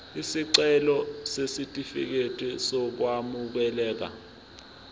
isicelo sesitifikedi sokwamukeleka